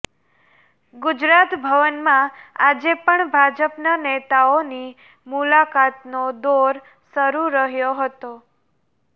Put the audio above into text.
ગુજરાત ભવનમાં આજે પણ ભાજપના નેતાઓની મુલાકાતનો દોર શરૂ રહ્યો હતો